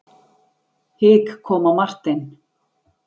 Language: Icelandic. Hik kom á Martein.